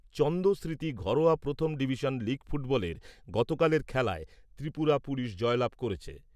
চন্দ্র স্মৃতি ঘরোয়া প্রথম division league ফুটবলের গতকালের খেলায় ত্রিপুরা পুলিশ জয়লাভ করেছে।